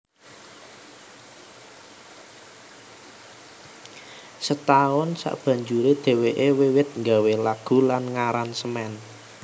Setahun sabanjuré dhèwèké wiwit nggawé lagu lan ngaransemen